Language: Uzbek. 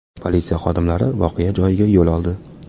Politsiya xodimlari voqea joyiga yo‘l oldi.